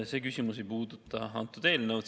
See küsimus ei puuduta antud eelnõu.